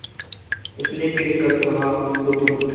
उसने फिर कर कहा बुधगुप्त